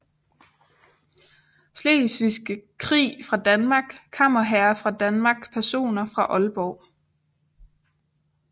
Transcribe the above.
Slesvigske Krig fra Danmark Kammerherrer fra Danmark Personer fra Aalborg